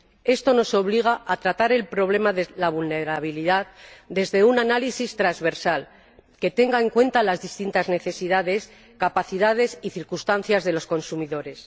Esto nos obliga a tratar el problema de la vulnerabilidad desde un análisis transversal que tenga en cuenta las distintas necesidades, capacidades y circunstancias de los consumidores.